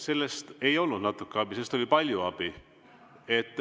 Sellest ei olnud natukene abi, sellest oli palju abi.